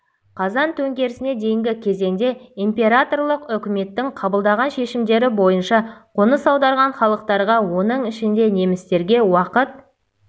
қазан төңкерісіне дейінгі кезеңде императорлық үкіметтің қабылдаған шешімдері бойынша қоныс аударған халықтарға оның ішінде немістерге уақыт